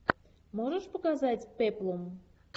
можешь показать пеплум